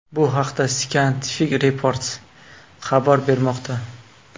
Bu haqda Scientific Reports xabar bermoqda .